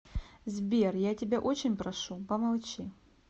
сбер я тебя очень прошу помолчи